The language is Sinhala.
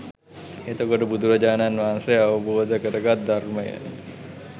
එතකොට බුදුරජාණන් වහන්සේ අවබෝධ කරගත් ධර්මය